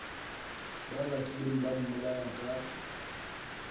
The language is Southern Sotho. ba batlileng ba mmolaya ka